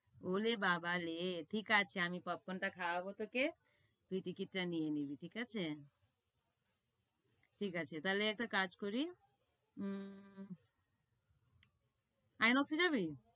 ওলে বাবা লে, ঠিক আছে আমি popcorn টা খাওয়াবো তোকে, তুই ticket টা নিয়ে নিবি, ঠিক আছে? ঠিক আছে, তাইলে একটা কাজ করি, উ Inox এ যাবি?